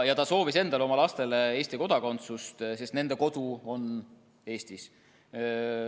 Ta soovis endale ja oma lastele Eesti kodakondsust, sest nende kodu on Eestis.